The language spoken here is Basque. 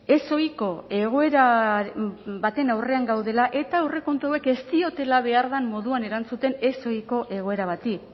ezohiko egoera baten aurrean gaudela eta aurrekontu hauek ez diotela behar den moduan erantzuten ezohiko egoera bati